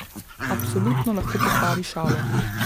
Absolutno lahko pokvari šalo.